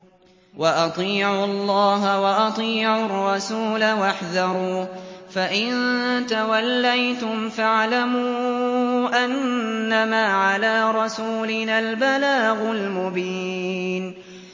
وَأَطِيعُوا اللَّهَ وَأَطِيعُوا الرَّسُولَ وَاحْذَرُوا ۚ فَإِن تَوَلَّيْتُمْ فَاعْلَمُوا أَنَّمَا عَلَىٰ رَسُولِنَا الْبَلَاغُ الْمُبِينُ